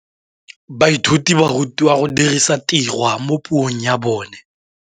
Baithuti ba rutilwe go dirisa tirwa mo puong ya bone.